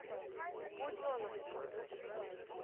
буденновском